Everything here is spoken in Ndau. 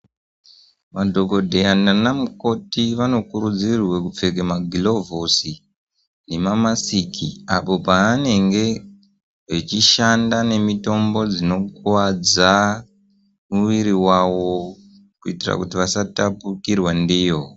Madhokodheya nana mukoti vanokurudzirwa kupfeka magilovhosi memamasiki apo paanenge achishanda nemitombo dzinokuvadza miviri wavo kuitira kuti vasatapukirwa ndiyo.